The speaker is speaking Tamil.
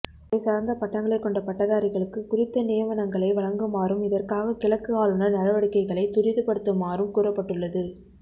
துறை சார்ந்த பட்டங்களை கொண்ட பட்டதாரிகளுக்கு குறித்த நியமனங்களை வழங்குமாறும் இதற்காக கிழக்கு ஆளுநர் நடவடிக்கைகளை துரிதப்படுத்துமாறும் கூறப்பட்டுள்ளது